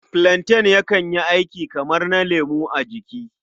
Filanten yakan yi aiki kamar na lemo a jiki.